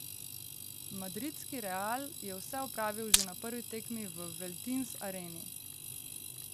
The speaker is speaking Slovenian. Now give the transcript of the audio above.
Madridski Real je vse opravil že na prvi tekmi v Veltins Areni.